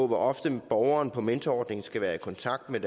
hvor ofte borgeren på mentorordningen skal være i kontakt med